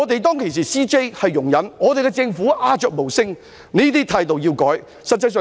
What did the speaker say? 當時的 CJ 容忍，政府又鴉雀無聲，這種態度必須加以改善。